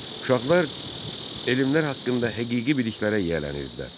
Uşaqlar elmlər haqqında həqiqi biliklərə yiyələnirdilər.